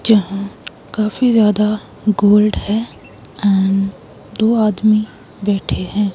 जहां काफी ज्यादा गोल्ड है एंड दो आदमी बैठे हैं।